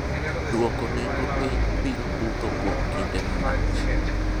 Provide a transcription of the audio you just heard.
dwoko nengo piny biro budho kuom kinde malach